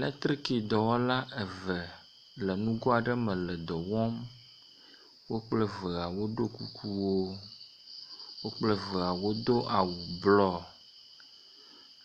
Lektriki dɔwɔla eve le nugo aɖe me le dɔ wɔm, wo kple vea wodo kukuwo, wo kple vea wodo awu blɔ.